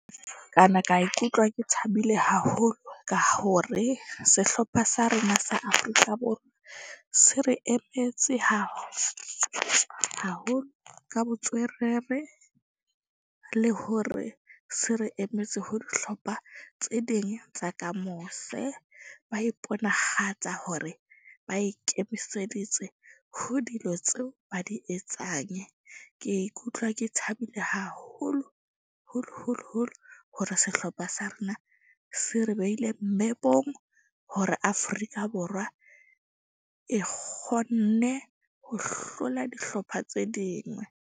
Kana ka ikutlwa ke thabile haholo ka hore sehlopha sa rona sa Afrika Borwa se re emetse haholo ka le hore se re emetse ho dihlopha tse ding tsa ka mose. Ba iponahatsa hore ba ikemiseditse ho dilo tseo ba di etsang. Ke ikutlwa ke thabile haholo holo holo holo hore sehlopha sa rona se re beile mepong, hore Afrika Borwa e kgone ho hlola dihlopha tse dingwe.